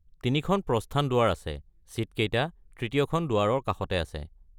তিনিখন প্ৰস্থান দুৱাৰ আছে, ছিটকেইটা তৃতীয়খন দুৱাৰৰ কাষতে আছে।